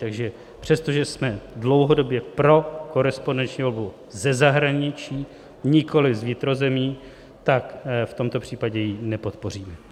Takže přestože jsme dlouhodobě pro korespondenční volbu ze zahraničí, nikoliv z vnitrozemí, tak v tomto případě ji nepodpoříme.